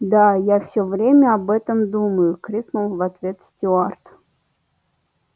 да я всё время об этом думаю крикнул в ответ стюарт